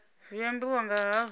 zwi ambiwa nga hazwo nga